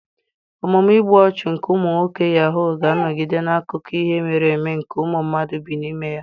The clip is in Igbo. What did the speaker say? Omume igbu ọchụ nke ụmụ nwoke yahuu ga-anọgide n'akụkọ ihe mere eme nke ụmụ mmadụ bi n'ime ya.